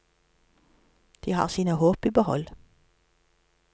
De har sine håp i behold.